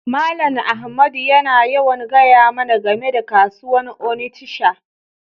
Mallam Ahmadu yana yawan gaya mana game da kasuwan Onitsha.